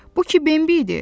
Bu ki Bembi idi.